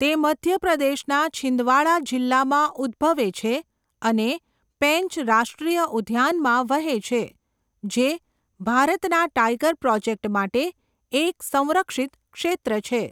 તે મધ્યપ્રદેશના છિંદવાડા જિલ્લામાં ઉદ્દભવે છે અને પેંચ રાષ્ટ્રીય ઉદ્યાનમાં વહે છે જે ભારતના ટાઇગર પ્રોજેક્ટ માટે એક સંરક્ષિત ક્ષેત્ર છે.